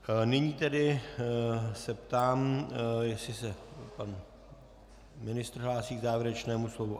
Nyní tedy se ptám, jestli se pan ministr hlásí k závěrečnému slovu.